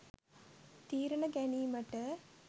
තීරණ ගැනීමට